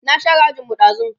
na share ajin mu ɗazun